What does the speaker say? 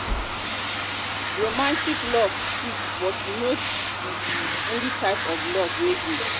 romantic romantic love sweet but e no be di only type of love wey dey.